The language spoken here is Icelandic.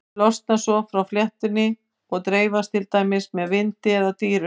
Þau losna svo frá fléttunni og dreifast til dæmis með vindi eða dýrum.